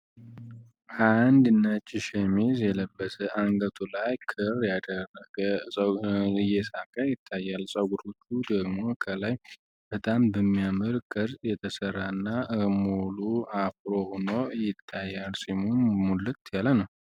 አንድ ነጭ ሸሚዝ የለበሰ አንገቱ ላይ ክር ያደረገ ሰው እየሳቀ ይታያል ጸጉሩን በሚያመር ቅርጽ እየተሰራ እና ሙሉ አምሮ ይታያል ፂሙም ሙሊት ያለ ነው።